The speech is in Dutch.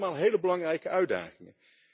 Dat zijn allemaal hele belangrijke uitdagingen.